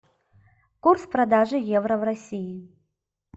курс продажи евро в россии